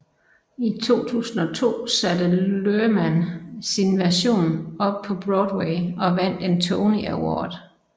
I 2002 satte Luhrmann sin version op på Broadway og vandt en Tony Award